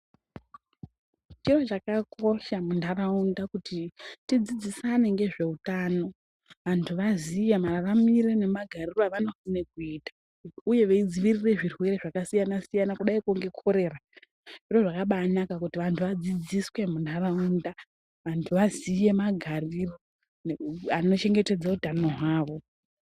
Chiro chakakosha munharaunda kuti tidzidzisane nezveutano vantu vazive maraamire magarire avanofanira kuita uye vadzivirire zvirwere zvakasiyana siyana kudai nekorera zviro zvakabai nakaka kuti vantu vadzidziswe munharaunda vantu vaziye magariro achengetedze utano hwawo .